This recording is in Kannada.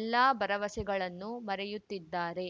ಎಲ್ಲಾ ಭರವಸೆಗಳನ್ನು ಮರೆಯುತ್ತಿದ್ದಾರೆ